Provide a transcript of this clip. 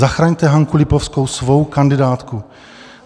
Zachraňte Hanku Lipovskou, svou kandidátku.